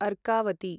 Arkavati